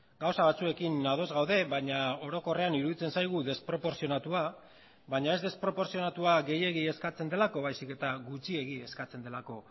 gauza batzuekin ados gaude baina orokorrean iruditzen zaigu desproportzionatua baina ez desproportzionatua gehiegi eskatzen delako baizik eta gutxiegi eskatzen delako